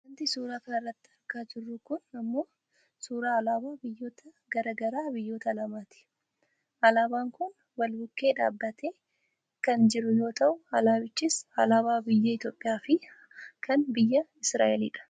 Wanti suuraa kanarratti argaa jiru kun ammoo suuraa alaabaa biyyoota gara garaa biyyoota lamaati. Alaabaan kun wal bukkee dhaabbattee kan jiru yoo ta'u alaabichis alaabaa biyya Itoopiyaa fi kan biyya Isiraaelidha.